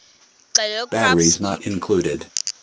xelel kabs iphi